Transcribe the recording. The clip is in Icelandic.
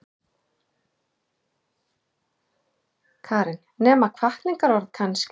Karen: Nema hvatningarorð kannski?